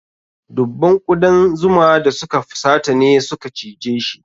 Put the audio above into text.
Dubban ƙudan zuma da suka fusata ne suka cijeshi.